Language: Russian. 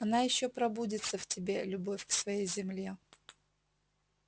она ещё пробудится в тебе любовь к своей земле